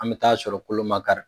An bɛ taa sɔrɔ kolo ma kari.